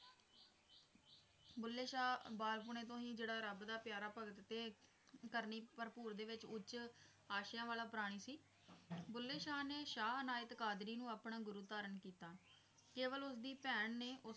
ਬੁੱਲੇ ਸ਼ਾਹ ਬਾਲਪੁਣੇ ਤੋਂ ਹੀ ਜਿਹੜਾ ਰੱਬ ਦਾ ਪਿਆਰਾ ਭਗਤ ਤੇ ਕਰਨੀ ਭਰਪੂਰ ਦੇ ਵਿੱਚ ਉੱਚ ਆਸ਼ਿਆਂ ਵਾਲਾ ਪ੍ਰਾਣੀ ਸੀ, ਬੁੱਲੇ ਸ਼ਾਹ ਨੇ ਸ਼ਾਹ ਇਨਾਇਤ ਕਾਦਰੀ ਨੂੰ ਆਪਣਾ ਗੁਰੂ ਧਾਰਨ ਕੀਤਾ, ਕੇਵਲ ਉਸਦੀ ਭੈਣ ਨੇ